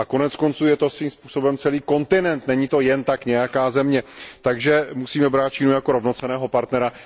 A koneckonců je to svým způsobem celý kontinent, není to jen tak nějaká země, takže musíme Čínu brát jako rovnocenného partnera.